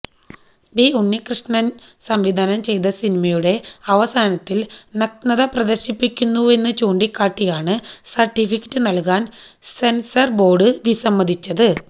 B ഉണ്ണികൃഷ്ണന് സംവിധാനം ചെയ്ത സിനിമയുടെ അവസാനത്തില് നഗ്നത പ്രദര്ശിപ്പിക്കുന്നുവെന്നു ചൂണ്ടിക്കാട്ടിയാണ് സര്ട്ടിഫിക്കറ്റ് നല്കാന് സെന്സര് ബോര്ഡ് വിസമ്മതിച്ചത്